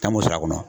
Taa mun sɔrɔ a kɔnɔ